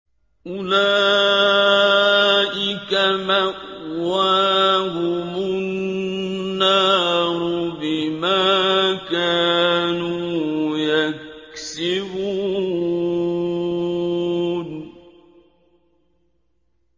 أُولَٰئِكَ مَأْوَاهُمُ النَّارُ بِمَا كَانُوا يَكْسِبُونَ